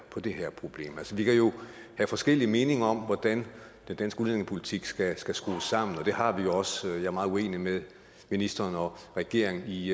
på det her problem altså vi kan jo have forskellige meninger om hvordan den danske udlændingepolitik skal skal skrues sammen og det har vi også jeg er meget uenig med ministeren og regeringen i